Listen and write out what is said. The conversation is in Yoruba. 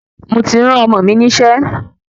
Mo ti rán Ọmọ mi nise